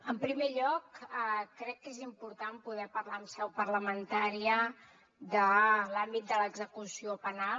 en primer lloc crec que és important poder parlar en seu parlamentària de l’àmbit de l’execució penal